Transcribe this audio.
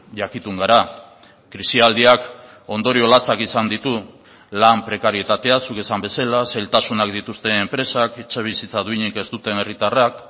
jakitun gara krisialdiak ondorio latzak izan ditu lan prekarietatea zuk esan bezala zailtasunak dituzten enpresak etxebizitza duinik ez duten herritarrak